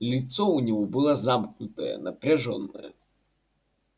лицо у него было замкнутое напряжённое